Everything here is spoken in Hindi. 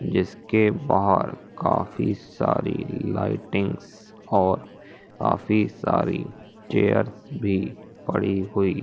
जिसके बाहर काफी सारी लाइटिंग्स और काफी सारी चेयर्स भी पड़ी हुई--